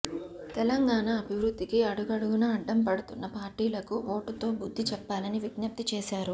తెలంగాణ అభివృద్ధికి అడుగడుగునా అడ్డం పడుతున్న పార్టీలకు ఓటుతో బుద్ధి చెప్పాలని విజ్ఞప్తి చేశారు